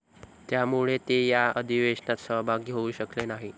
त्यामुळे ते या अधिवेशनात सहभागी होऊ शकले नाही.